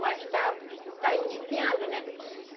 Mas está, está iniciando, né?